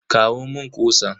Kawo mun kutsan.